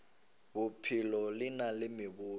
bophelo le na le meboto